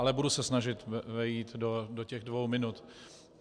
Ale budu se snažit vejít do těch dvou minut.